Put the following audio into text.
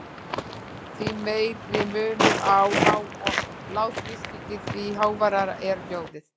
Því meiri munur á há- og lágþrýstingi, því háværara er hljóðið.